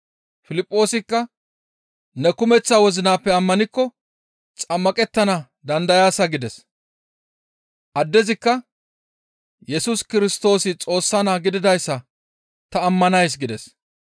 Piliphoosikka, «Ne kumeththa wozinappe ammanikko xammaqettana dandayaasa» gides. Addezikka, «Yesus Kirstoosi Xoossa Naa gididayssa ta ammanays» gides.